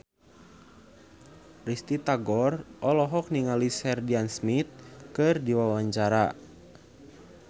Risty Tagor olohok ningali Sheridan Smith keur diwawancara